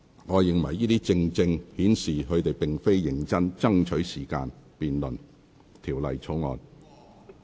我認為這正正顯示他們並非認真爭取時間辯論《條例草案》。